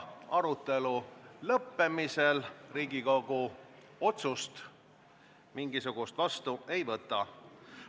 Arutelu lõppemisel Riigikogu mingisugust otsust vastu ei võta.